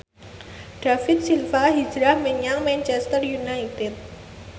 David Silva hijrah menyang Manchester united